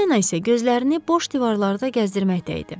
Polyanna isə gözlərini boş divarlarda gəzdirməkdə idi.